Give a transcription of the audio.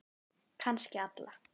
Kannski alla.